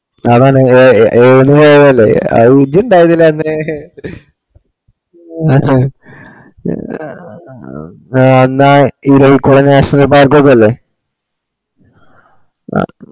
സാദാരണ എ എ ഏയ്ന്ന് പോയതല്ലേ എ അഹ് ഇജ്ജ് ഇണ്ടവല്ലോ അന്ന് അന്ന് ആ ഇരവികുളം നാഷണൽ പരക്കെ ഒക്കെ അല്ലെ